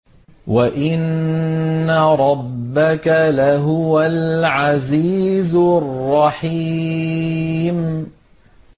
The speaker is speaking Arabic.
وَإِنَّ رَبَّكَ لَهُوَ الْعَزِيزُ الرَّحِيمُ